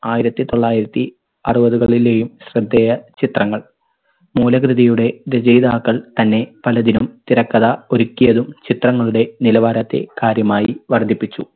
ആയിരത്തി തൊള്ളായിരത്തി അറുപതുകളിലെയും ശ്രദ്ധേയ ചിത്രങ്ങൾ. മൂലകൃതിയുടെ രചയിതാക്കൾ തന്നെ പലതിനും തിരക്കഥ ഒരുക്കിയതും ചിത്രങ്ങളുടെ നിലവാരത്തെ കാര്യമായി വർധിപ്പിച്ചു.